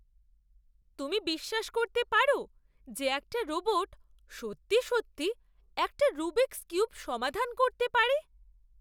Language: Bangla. তুমি বিশ্বাস করতে পারো যে, একটা রোবট সত্যি সত্যি একটা রুবিকস্ কিউব সমাধান করতে পারে?